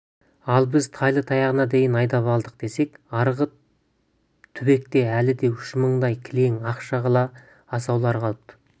ал біз тайлы-таяғына дейін айдап алдық десек арғы түбекте әлі де үш мыңдай кілең ақ шағала асаулары қалыпты